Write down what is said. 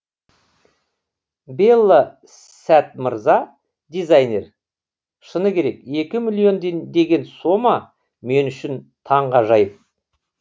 белла сәт мырза дизайнер шыны керек екі миллион деген сома мен үшін таңғажайып